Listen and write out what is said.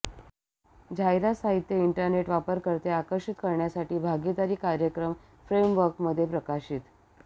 जाहिरात साहित्य इंटरनेट वापरकर्ते आकर्षित करण्यासाठी भागीदारी कार्यक्रम फ्रेमवर्क मध्ये प्रकाशित